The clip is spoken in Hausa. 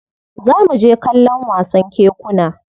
Za mu je kallon wasan kekuna.